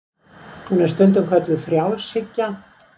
hún er stundum kölluð frjálshyggja